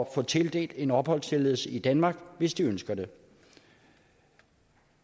få tildelt en opholdstilladelse i danmark hvis de ønsker det